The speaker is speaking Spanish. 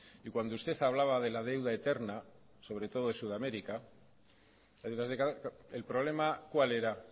y cuando usted hablaba de la deuda eterna sobre todo de sudamérica el problema cuál era